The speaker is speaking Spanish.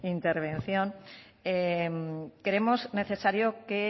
intervención creemos necesario que